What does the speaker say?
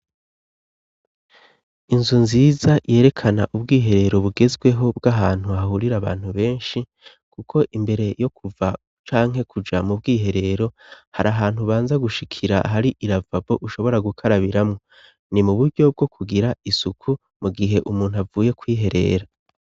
Inzu nziza yerekana ubwiherero bugezweho bw'ahantu hahurira abantu benshi kuko imbere yo kuva canke kuja mu bwiherero hari ahantu banza gushikira hari iravabo ushobora gukarabiramwo ni mu buryo bwo kugira isuku mu gihe umuntu avuye kwiherera.